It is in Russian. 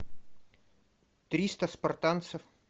триста спартанцев